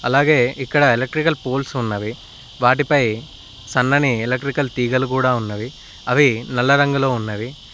అలాగే ఇక్కడ electrical poles ఉన్నవి వాటిపై సన్నని ఎలెట్రికల్ తీగలు కూడా ఉన్నవి అవి నల్ల రంగులో ఉన్నవి.